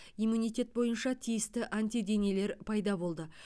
иммунитет бойынша тиісті антиденелер пайда болды